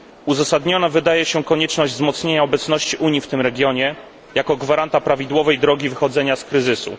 Uzasadniona wydaje się konieczność wzmocnienia obecności Unii w tym regionie jako gwaranta prawidłowej drogi wychodzenia z kryzysu.